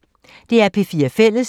DR P4 Fælles